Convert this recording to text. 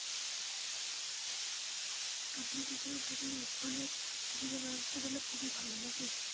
আপনি যেখানে থাকেন ওখানে চিকিৎসা ব্যবস্থা তাহলে খুবই ভালো নাকি.